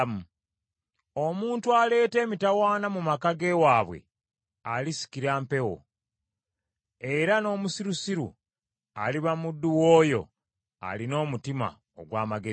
Omuntu aleeta emitawaana mu maka g’ewaabwe, alisikira mpewo; era n’omusirusiru aliba muddu w’oyo alina omutima ogw’amagezi.